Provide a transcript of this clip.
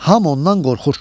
Hamı ondan qorxur.